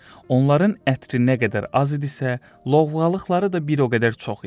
Onların ətri nə qədər az idisə, lovğalıqları da bir o qədər çox idi.